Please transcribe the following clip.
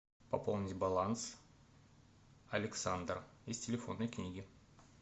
пополнить баланс александр из телефонной книги